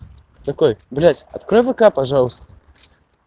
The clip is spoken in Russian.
такой блять открой вк пожалуйста